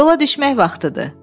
Yola düşmək vaxtıdır!